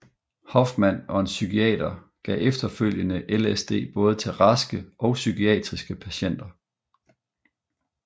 Hoffman og en psykiater gav efterfølgende LSD både til raske og psykiatriske patienter